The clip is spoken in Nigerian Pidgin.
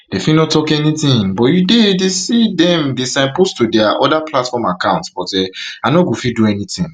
dem fit no tok anything but you dey dey see say dem dey signpost to dia [oda platform] accounts but um i no go fit do anything